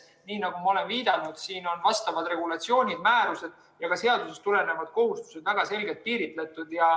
Nii nagu ma olen viidanud, siin on vastavad regulatsioonid, määrused ja ka seadusest tulenevad kohustused väga selgelt piiritletud.